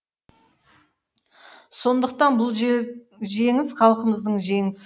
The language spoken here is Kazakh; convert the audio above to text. сондықтан бұл жеңіс халқымыздың жеңісі